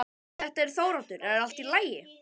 Þetta er Þóroddur, er allt í lagi?